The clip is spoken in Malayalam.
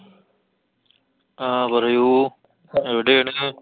ആ പറയൂ. എവിടെയാണ്?